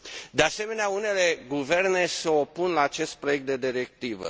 De asemenea, unele guverne se opun la acest proiect de directivă.